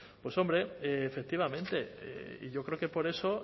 pues hombre efectivamente yo creo que por eso